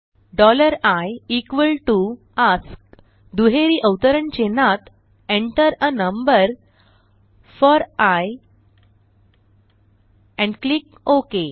i ask दुहेरी अवतरण चिन्हात enter आ number four I and click okay